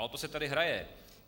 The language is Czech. A o to se tady hraje.